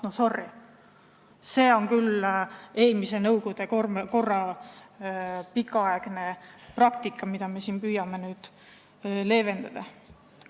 No sorry, see on küll nõukogude korra pikaaegne praktika, mida me siin püüame leevendada.